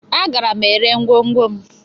Agara m ere ngwongwo m.